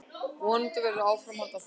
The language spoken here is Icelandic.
Vonandi verður áframhald á því.